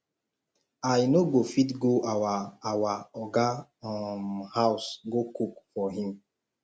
i no go fit go our our oga um house go cook for him